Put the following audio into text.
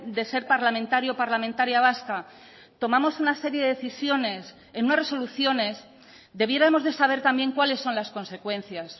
de ser parlamentario parlamentaria vasca tomamos una serie de decisiones en unas resoluciones debiéramos de saber también cuáles son las consecuencias